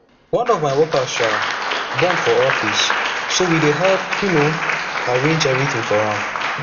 one of my workers um born for office so we help um arrange everything for am